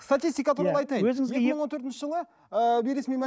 статистика туралы айтайын екі мың төртінші жылы ыыы бейресми